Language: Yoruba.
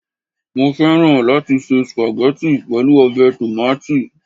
Mo fẹ́ràn láti se spaghetti pẹ̀lú ọbẹ̀ tòmátì